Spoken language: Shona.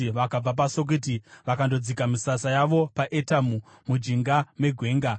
Vakabva paSukoti vakandodzika misasa yavo paEtamu, mujinga megwenga.